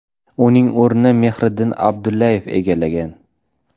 Uning o‘rnini Mehriddin Abdullayev egallagan.